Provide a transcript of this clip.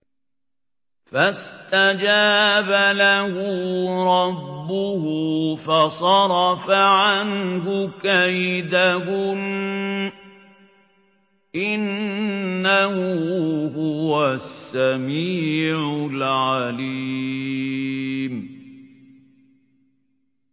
فَاسْتَجَابَ لَهُ رَبُّهُ فَصَرَفَ عَنْهُ كَيْدَهُنَّ ۚ إِنَّهُ هُوَ السَّمِيعُ الْعَلِيمُ